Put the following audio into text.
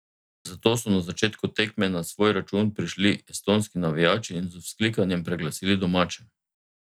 Zato so na začetku tekme na svoj račun prišli estonski navijači in z vzklikanjem preglasili domače.